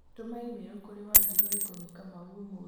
tũma i-mĩrũ kũrĩ wanjirũ ikoniĩ kamau ũmũthĩ